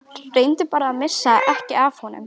Reyndu bara að missa ekki af honum.